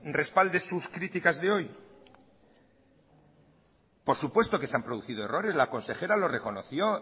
respalde sus criticas de hoy por supuesto que se han producido errores la consejera lo reconoció